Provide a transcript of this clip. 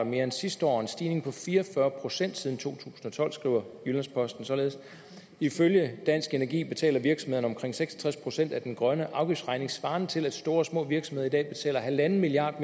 mere end sidste år og en stigning på fire og fyrre procent siden to tusind og tolv skriver jyllands posten således ifølge dansk energi betaler virksomhederne omkring seks og tres procent af den grønne afgiftsregning svarer til at store og små virksomheder i dag betaler en milliard